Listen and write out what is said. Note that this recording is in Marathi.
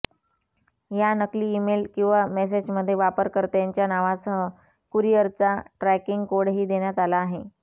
या नकली ईमेल किंवा मेसेजमध्ये वापरकर्त्याच्या नावासह कुरिअरचा ट्रॅकिंग कोडही देण्यात आला आहे